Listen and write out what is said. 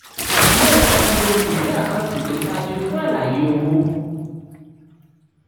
lóòótọ́ lo ìwé àkántì tó dájú fún àlàyé owó.